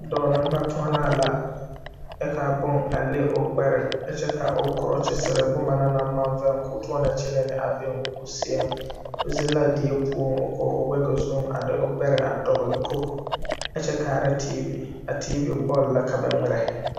Dɔɔ neŋbatoɔnaa la kyɛ kaa bon a le o gbɛre kyɛ ka o krɔkyisire boma na naŋ maŋ veŋ koo toɔnɔ kyɛnɛ ne a be o seɛŋ o zeŋ la die poɔ ko wege zuŋ a de gbɛre a dɔgle koge zu kyɛ kaara teevi a teevi bɔl la ka ba ngmirɛ.